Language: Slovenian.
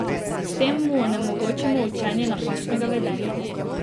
S tem mu onemogočimo učenje napačnega vedenja.